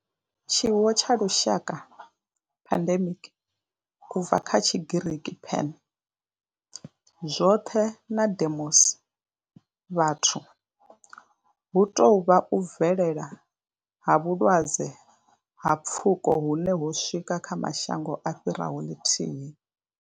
Tshiwo tsha lushaka pandemic, u bva kha Tshigiriki pan, zwoṱhe na demos, vhathu hu tou vha u bvelela ha vhulwadze ha pfuko hune ho swika kha mashango a fhiraho ḽithihi.